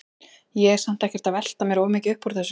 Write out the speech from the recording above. Ég er samt ekkert að velta mér of mikið upp úr þessu.